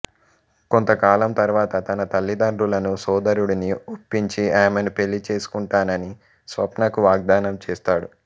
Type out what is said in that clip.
కొంతకాలం తర్వాత తన తల్లిదండ్రులను సోదరుడిని ఒప్పించి ఆమెను పెళ్ళి చేసుకుంటానని స్వప్నకు వాగ్దానం చేస్తాడు